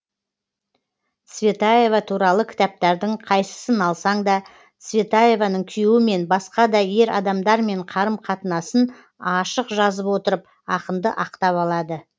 цветаева туралы кітаптардың қайсысын алсаң да цветаеваның күйеуімен басқа да ер адамдармен қарым қатынасын ашық жазып отырып ақынды ақтап алады